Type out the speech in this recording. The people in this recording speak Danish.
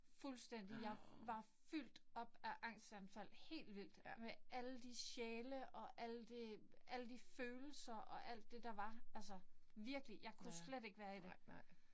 Fuldstændig. Jeg var fuldt op af angstanfald. Helt vildt. Med alle de sjæle og alle det alle de følelser og alt det der var altså. Virkelig. Jeg kunne slet ikke være i det